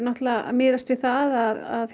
miðast við að